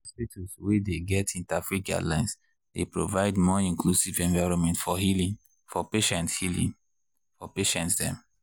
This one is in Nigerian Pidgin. hospitals wey dey get interfaith guidelines dey provide more inclusive environment for healing for patients healing for patients dem.